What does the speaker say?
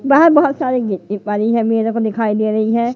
बाहर बहोत सारे मेरे को दिखाई दे रही है।